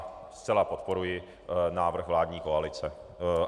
A zcela podporuji návrh vládní koalice.